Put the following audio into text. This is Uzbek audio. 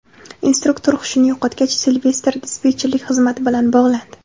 Instruktor hushini yo‘qotgach, Silvestr dispetcherlik xizmati bilan bog‘landi.